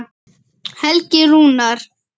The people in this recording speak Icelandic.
Helgi Rúnar.